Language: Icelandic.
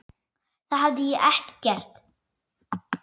Það hefði ég ekki gert.